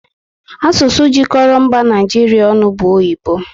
Asụsụ jikọrọ mba Naijiria ọnụ bụ oyibo